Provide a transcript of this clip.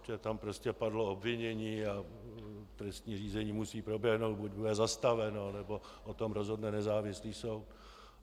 Protože tam prostě padlo obvinění a trestní řízení musí proběhnout, buď bude zastaveno, nebo o tom rozhodne nezávislý soud.